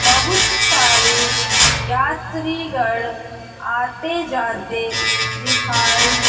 बहुत सारे यात्रीगण आते जाते दिखाई--